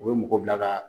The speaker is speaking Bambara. U bɛ mɔgɔ bila ka